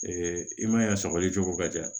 i man ya sɔgɔli cogo ka di yan